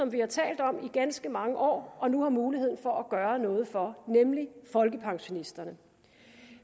vi har talt om i ganske mange år og nu har mulighed for at gøre noget for nemlig folkepensionisterne